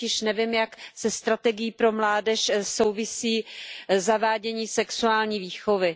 Já totiž nevím, jak se strategií pro mládež souvisí zavádění sexuální výchovy.